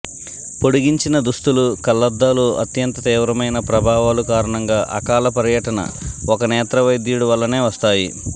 పొడిగించిన దుస్తులు కళ్లద్దాలు అత్యంత తీవ్రమైన ప్రభావాలు కారణంగా అకాల పర్యటన ఒక నేత్ర వైద్యుడు వల్లనే వస్తాయి